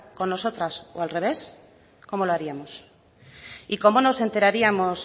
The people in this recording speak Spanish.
con nosotras o al revés cómo lo haríamos y cómo nos enteraríamos